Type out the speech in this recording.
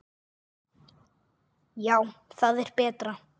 Já, það er betra.